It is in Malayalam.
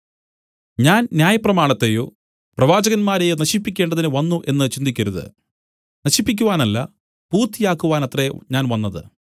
ഞാൻ ന്യായപ്രമാണത്തെയോ പ്രവാചകന്മാരെയോ നശിപ്പിക്കേണ്ടതിന്നു വന്നു എന്നു ചിന്തിക്കരുത് നശിപ്പിക്കുവാനല്ല പൂർത്തിയാക്കുവാനത്രേ ഞാൻ വന്നത്